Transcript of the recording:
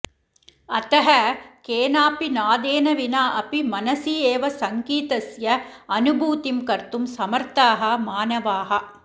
अतः केनापि नादेन विना अपि मनसि एव सङ्गीतस्य अनुभूतिं कर्तुं समर्थाः मानवाः